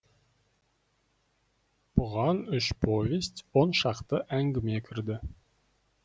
бұған үш повесть он шақты әңгіме кірді